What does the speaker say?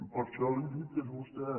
per això li dic que és vostè